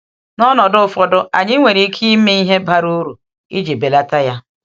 N’ọnọdụ ụfọdụ, anyị nwere ike ime ihe bara uru iji belata ya.